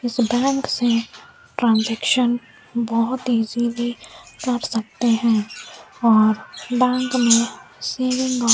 इस बैंक से ट्रांजेक्शन बहोत इजीली कर सकते हैं और बैंक में सेविंग और --